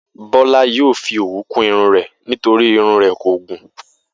Bó̩lá yóò fi òwú kún irun rè̩ nítorí irun rè̩ kò gùn